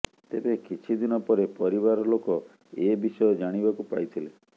ତେବେ କିଛିଦିନ ପରେ ପରିବାରଲୋକ ଏ ବିଷୟ ଜାଣିବାକୁ ପାଇଥିଲେ